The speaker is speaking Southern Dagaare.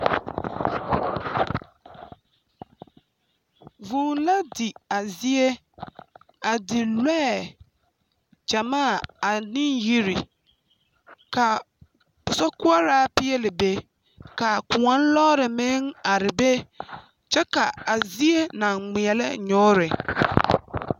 Vŭŭ la di a zie, a di lɔɛ gyamaa ane yiri. Ka sokoɔraa peɛle be, ka koɔ lɔɔre meŋ ar be kyɛ ka a zie naŋ ŋmeɛlɛ nyoore.